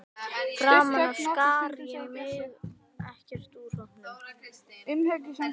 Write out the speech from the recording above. Framan af skar ég mig ekkert úr hópnum.